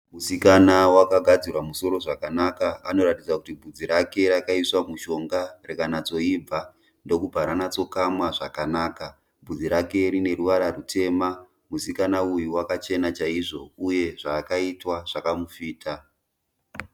Musikana wakagadzirwa musoro zvakanaka. Anoratidza kuti vhudzi rake rakaiswa mushonga rikanatsoibva ndokubva ranatsokamwa zvakanaka. Vhudzi rake rineruvara rwutema. Musikana uyu wakachena chaizvo uye zvaakaitwa zvakamufita.